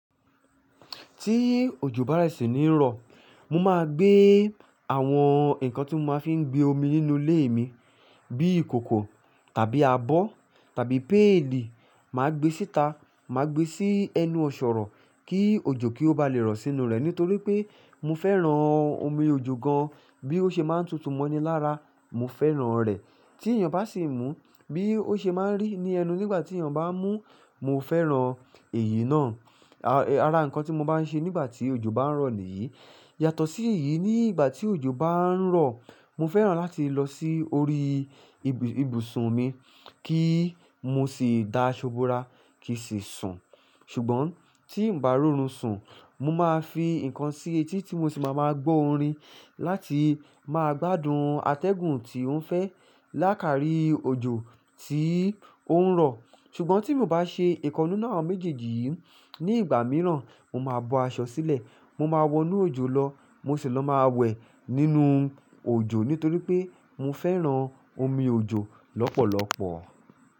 Tí òjò bá rẹ̀ sì ní rọ̀, mo máa gbé àwọn nǹkan tí mo máa fi ń gbé omi nínú ilé mi bí ìkòkò tàbí abọ́ tàbí paili, màá gbé síta, màá gbé sí ẹnu ọ̀sọ̀rọ̀ kí òjò kí ó bá lè rọ̀ sínú rẹ̀ nítorí pé mo fẹ́ran omi òjò gan an. Bí ó ṣe máa ń tutù mọ́ni lára, mo fẹ́ran rẹ̀. Tí èèyàn bá sì mú bí ó ṣe máa ń rí ní ẹnu nígbà tí èèyàn bá mú, mo fẹ́ran èyí náà. Ara nǹkan tí mo bá ń ṣe nígbà tí òjò bá ń rọ̀ nìyí. Yàtọ̀ sí èyí, nígbà tí òjò bá ń rọ̀, mo fẹ́ran láti lọ sí orí ibùsùn mi kí mo sì dá ṣúbúrà kì sì sùn. Ṣùgbọ́n tí ǹ bá rún ọ̀run sùn, mo máa fi nǹkan sí etí tí mo sì máa máa gbó orin láti máa gbádùn atẹ́gùn tí ó ń fẹ́ lákàárí òjò tí ó ń rọ̀. Ṣùgbọ́n tí mo bá ṣe ìkannú nú méjèèjì yí ní ìgbà mìíràn, mo máa bọ aṣọ sílẹ̀ mo máa wọnú òjò lọ mo sì lọ máa wẹ̀ nínú òjò nítorí pé mo fẹ́ran omi òjò lọ́pọ̀lọpọ̀.